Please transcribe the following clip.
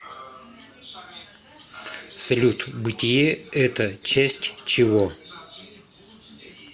салют бытие это часть чего